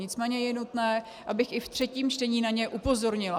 Nicméně je nutné, abych i v třetím čtení na ně upozornila.